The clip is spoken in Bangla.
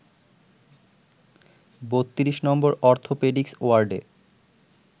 ৩২ নম্বর অর্থপেডিক্স ওয়ার্ডে